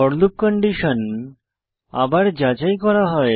four loop condition আবার যাচাই করা হয়